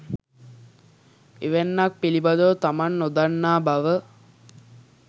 එවැන්නක් පිළිබඳව තමන් නොදන්නා බව